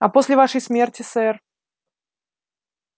а после вашей смерти сэр